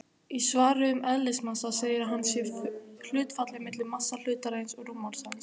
Í svari um eðlismassa segir að hann sé hlutfallið milli massa hlutarins og rúmmáls hans.